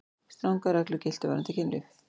Strangar reglur giltu varðandi kynlíf.